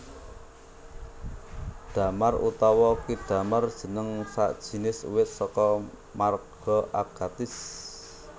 Damar utawa ki damar jeneng sajinis uwit saka marga Agathis